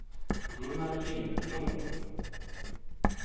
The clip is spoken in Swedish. Gunnar Lindblom